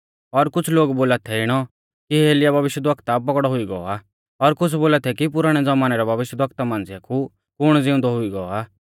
और कुछ़ लोग बोला थै इणौ कि एलियाह भविष्यवक्ता पौगड़ौ हुई गौ आ और कुछ़ बोला थै कि पुराणै ज़मानै रै भविष्यवक्ता मांझ़िया कु कुण ज़िउंदौ हुई गौ आ